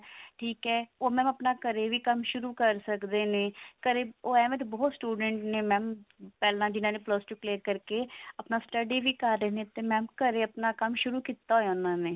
ਠੀਕ ਹੈ ਉਹ mam ਆਪਣਾ ਘਰੇ ਵੀ ਕੰਮ ਸ਼ੁਰੂ ਕਰ ਸਕਦੇ ਨੇ ਓਰ ਏਵੇਂ ਤਾਂ ਬਹੁਤ students ਨੇ mam ਪਹਿਲਾਂ ਜਿਹਨਾਂ ਨੇ plus two clear ਕਰਕੇ ਆਪਣਾ study ਵੀ ਕਰ ਰਹੇ ਨੇ mam ਘਰੇ ਆਪਣਾ ਕੰਮ ਸ਼ੁਰੂ ਕੀਤਾ ਹੋਇਆ ਉਹਨਾਂ ਨੇ